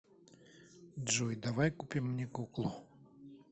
джой давай купим мне куклу